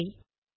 நன்றி